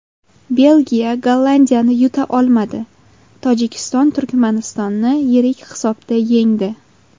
Belgiya Gollandiyani yuta olmadi, Tojikiston Turkmanistonni yirik hisobda yengdi.